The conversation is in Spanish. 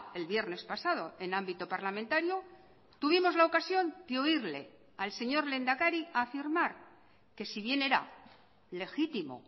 el viernes pasado en ámbito parlamentario tuvimos la ocasión de oírle al señor lehendakari afirmar que si bien era legítimo